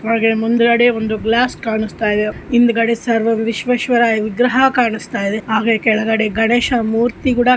ಮುಂದುಗಡೆ ಒಂದು ಗ್ಲಾಸ್ ಕಾಣಿಸ್ತಿದೆ ಹಿಂದ್ಗಡೆ ಸರ್ ಎಮ್ ವಿಶ್ವೇಶ್ವರಯ್ಯ ವಿಗ್ರಹ ಕಾಣಿಸುತ್ತಿದೆ ಹಾಗೆ ಕೆಳಗಡೆ ಗಣೇಶ ಮೂರ್ತಿಗೂಡ --